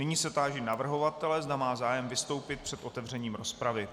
Nyní se táži navrhovatele, zda má zájem vystoupit před otevřením rozpravy.